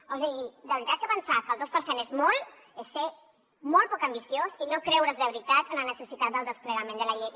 o sigui de veritat que pensar que el dos per cent és molt és ser molt poc ambiciós i no creure’s de veritat la necessitat del desplegament de la llei